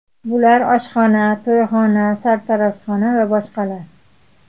Bular oshxona, to‘yxona, sartaroshxona va boshqalar.